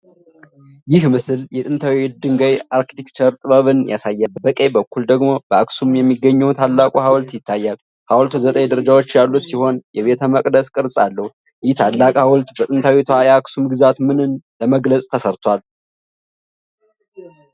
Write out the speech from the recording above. ይህ ምስል የጥንታዊ የድንጋይ አርኪቴክቸር ጥበብን ያሳያል፤ በቀኝ በኩል ደግሞ በአክሱም የሚገኘው ታላቁ ኃውልት ይታያል። ኃውልቱ ዘጠኝ ደረጃዎች ያሉት ሲሆን የቤተ-መቅደስ ቅርፅ አለው። ይህ ታላቅ ኃውልት በጥንታዊቷ የአክሱም ግዛት ምንን ለመግለጽ ተሰርቷል?